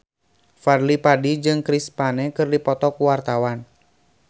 Fadly Padi jeung Chris Pane keur dipoto ku wartawan